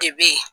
De be yen